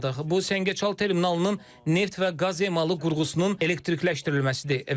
Bu Səngəçal terminalının neft və qaz emalı qurğusunun elektrikləşməsi idi.